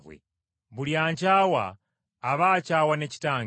Buli ankyawa aba akyawa ne Kitange.